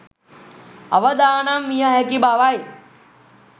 අවදානම් විය හැකි බවයි